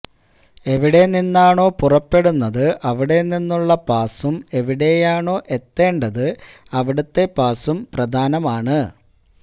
എവിടെ നിന്നാണോ പുറപ്പെടുന്നത് അവിടെ നിന്നുള്ള പാസ്സും എവിടെയാണോ എത്തേണ്ടത് അവിടുത്തെ പാസ്സും പ്രധാനമാണ്